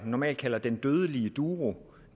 normalt kalder den dødelige duo